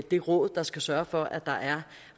det råd der skal sørge for at der er